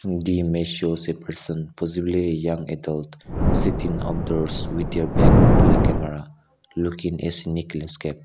the image shows a person possibly young adult seating outdoors with their back to the camera looking a scenic landscape.